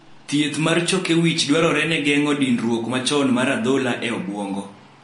thieth na choke wich dwarore na geng'o (dinruok machon mar adhola e obuongo)